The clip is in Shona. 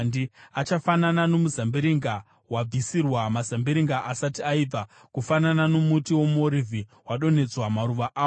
Achafanana nomuzambiringa wabvisirwa mazambiringa asati aibva, kufanana nomuti womuorivhi wodonhedza maruva awo.